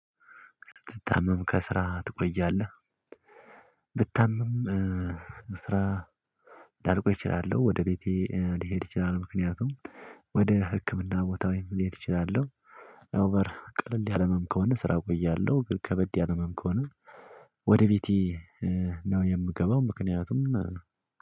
"ትታመም ከስራ ትቆያለህ?" ብታመም ስራ ላልቆይ እችላለሁ ወደ ቤቴ ልሄድ እችላለሁ። ምክንያቱም ወደ ህክምና ቦታ ወይም ልሄድ እችላለሁ ኦቨር ቀለል ያለም ምናምን ከሆነ ስራ እቆያለሁ ግን ከበድ ያለም ምናምን ከሆነ ወደ ቤቴ ነው የምገባው። ምክንያቱም